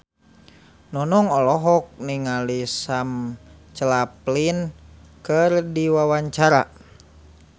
Nunung olohok ningali Sam Claflin keur diwawancara